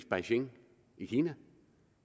beijing i kina